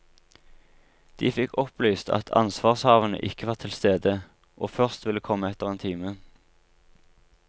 De fikk opplyst at ansvarshavende ikke var tilstede, og først ville komme etter en time.